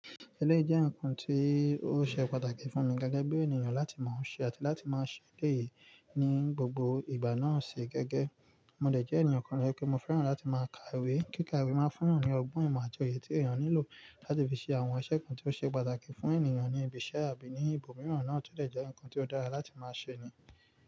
Eléyìí jẹ́ nǹkan tí ó ṣe pàtàkì fún mi gẹ́gẹ́ bí ènìyàn láti máa ń ṣe àti láti máa ṣe eléyìí ní gbogbo ìgbà náà ṣe gẹ́gẹ́. Mo dẹ̀ jẹ́ ènìyàn kan to jẹ wipé mo fẹ́ràn láti máa ka ìwé. Kíka ìwé máa ń fún eyan ní ọgbọ́n ìmọ̀ àti òye tí ènìyàn nílò láti fi ṣe àwọn iṣẹ kan tí ó ṣe pàtàkì fún ènìyàn ní ibi iṣẹ́ àbí ní ibòmíràn náà tò dẹ̀ jẹ́ nǹkan tí ó dára láti máa ṣe ni.